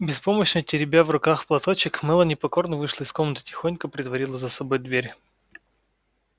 беспомощно теребя в руках платочек мелани покорно вышла из комнаты и тихонько притворила за собой дверь